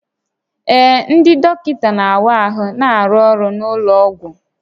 Ee, ndị dọkịta na-awa ahụ na-arụ ọrụ n'ụlọ ọgwụ